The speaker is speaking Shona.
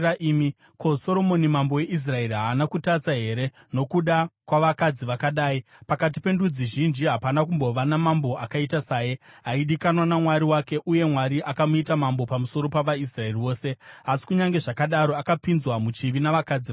Ko, Soromoni mambo weIsraeri haana kutadza here nokuda kwavakadzi vakadai? Pakati pendudzi zhinji hapana kumbova namambo akaita saye. Aidikanwa naMwari wake, uye Mwari akamuita mambo pamusoro pavaIsraeri vose, asi kunyange zvakadaro akapinzwa muchivi navakadzi vatorwa.